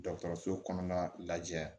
Dɔgɔtɔrɔso kɔnɔna lajɛ